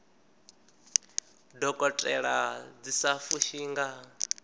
dokotela dzi sa fushi nga